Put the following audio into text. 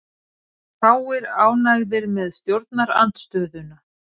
Fáir ánægðir með stjórnarandstöðuna